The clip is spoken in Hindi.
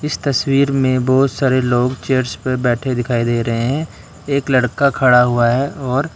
इस तस्वीर में बहुत सारे लोग चेयर्स पर बैठे दिखाई दे रहे हैं एक लड़का खड़ा हुआ है और --